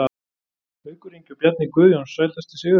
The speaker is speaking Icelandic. Haukur Ingi og Bjarni Guðjóns Sætasti sigurinn?